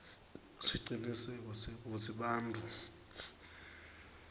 siciniseko sekutsi bantfu